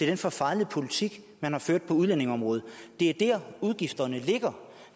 den forfejlede politik man har ført på udlændingeområdet det er der udgifterne ligger